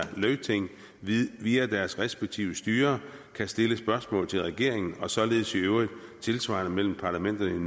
løgting via deres respektive styrer kan stille spørgsmål til regeringen og således i øvrigt tilsvarende imellem parlamenterne